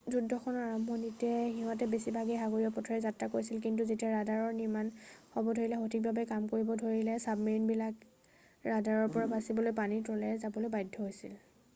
যুদ্ধখনৰ আৰম্ভণিতে সিহঁতে বেছিভাগ সাগৰীয় পথেৰে যাত্ৰা কৰিছিল কিন্তু যেতিয়া ৰাডাৰৰ নিৰ্মাণ হ'ব ধৰিলে আৰু সঠিকভাৱে কাম কৰিব ধৰিলে চাবমেৰিনবিলাক ৰাডাৰৰ পৰা বাচিবলৈ পানীৰ তলেৰে যাব বাধ্য হৈছিল